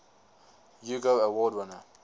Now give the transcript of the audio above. hugo award winner